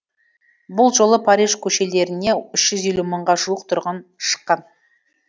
бұл жолы париж көшелеріне үш жүз елу мыңға жуық тұрғын шыққан